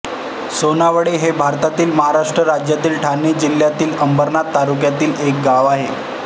सोनावळे हे भारतातील महाराष्ट्र राज्यातील ठाणे जिल्ह्यातील अंबरनाथ तालुक्यातील एक गाव आहे